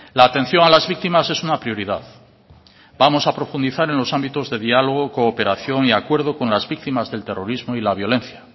la atención a las víctimas es una prioridad vamos a profundizar en los ámbitos de diálogo cooperación y acuerdo con las víctimas del terrorismo y la violencia